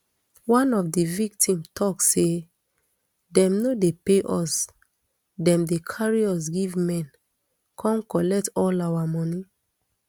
one of di victim tok say dem no dey pay us dem dey carry us give men come collect all our money